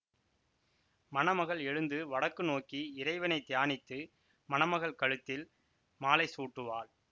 மணமகள் எழுந்து வடக்கு நோக்கி இறைவனை தியானித்து மணமகள் கழுத்தில் மாலை சூட்டுவாள்